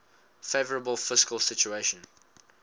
favourable fiscal situation